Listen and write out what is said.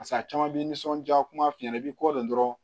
Paseke a caman bɛ nisɔnjaa kuma f'i ɲɛna i b'i kɔ don dɔrɔn